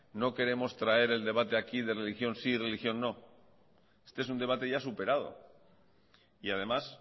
no queremos traer el debate aquí de religión sí religión no es un debate ya superado y además